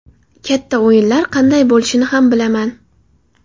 Katta o‘yinlar qanday bo‘lishini ham bilaman.